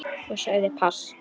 Og sagði pass.